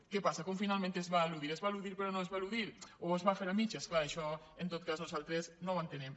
què passa com finalment s’eludirà s’eludirà però no s’eludirà o es farà a mitges clar això en tot cas nosaltres no ho entenem